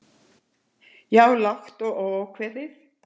Já. lágt og óákveðið.